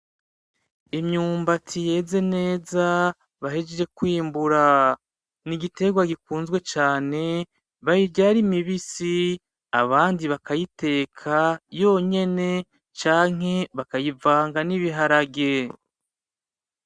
Imyumbati yeze neza bahejeje kwimbura, n'igiterwa gikunzwe cane bayirya ari mibisi, abandi bakayiteka yonyene canke bakayivanga n'ibiharage.